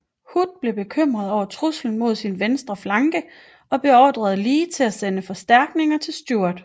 Hood blev bekymret over truslen mod sin venstre flanke og beordrede Lee til at sende forstærkninger til Stewart